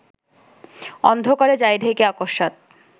অন্ধকারে যায় ঢেকে অকস্মাৎ